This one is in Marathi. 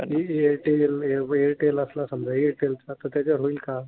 एअरटेल एअरटेल असला समजा एअरटेल तर त्याच्यावर होईल का?